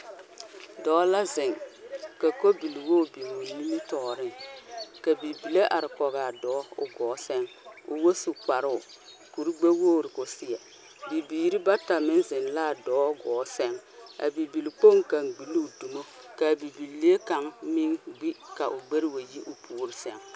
Dɔɔ la zeŋ, ka kolbiwogi biŋ o nimitɔɔreŋ ka bibile are-koge a dɔɔ o gɔɔ seŋ, o wɔ su kparoo. Kur-gbɛ-wogi koo seɛ. Bibiiri bata meŋ zeŋ la a dɔɔ gɔɔ seŋ. A bibilkpoŋ kaŋa gbi loo dumo. Bibilee kaŋa meŋ gbi ka o gbɛre wa yi o puori seŋ